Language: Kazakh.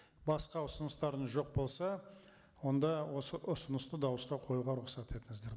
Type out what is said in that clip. басқа ұсыныстарыңыз жоқ болса онда осы ұсынысты дауысқа қоюға рұқсат етіңіздер